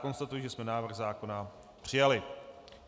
Konstatuji, že jsme návrh zákona přijali.